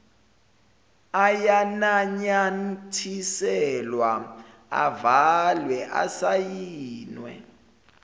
ayananyathiselwa avalwe asayinwe